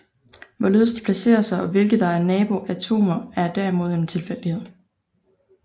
Hvorledes de placerer sig og hvilke der er nabo atomer er derimod en tilfældighed